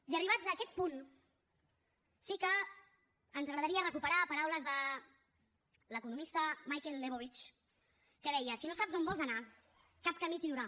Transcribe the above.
i arribats a aquest punt sí que ens agradaria recuperar paraules de l’economista michael lebowitz que deia si no saps on vols anar cap camí t’hi durà